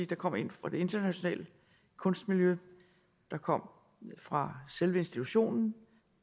der kom en fra det internationale kunstmiljø der kom en fra selve institutionen